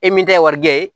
E min tɛ warijɛ ye